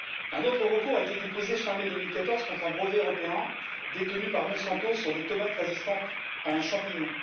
Un autre recours a été déposé fin mai 2014 contre un brevet européen détenu par Monsanto sur des tomates résistantes à un champignon.